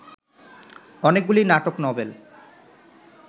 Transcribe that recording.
অনেকগুলি নাটক নবেল